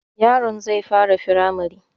Yaron zai fara firamare